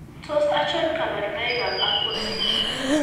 Tos achon kabarunaik ab Alport syndrome ?